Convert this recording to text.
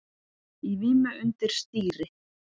Í vímu undir stýri